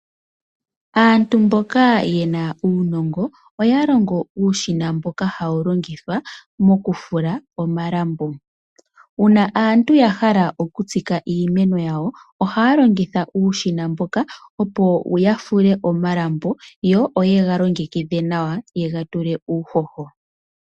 Aantu mboka yena uunongo oya longo uushina mboka hawu longithwa mokufula omalambo. Uuna aantu ya hala okutsika iimeno ya wo ohaalongitha uushina mboka opo ya fule omalambo yo oyega longekidhe nawa yegatule uuhoho.